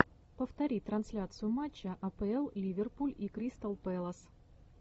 повтори трансляцию матча апл ливерпуль и кристал пэлас